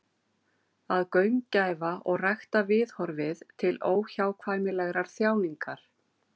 Að gaumgæfa og rækta viðhorfið til óhjákvæmilegrar þjáningar.